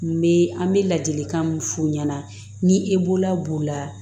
N bɛ an bɛ ladilikan mun f'u ɲɛna ni e la b'o la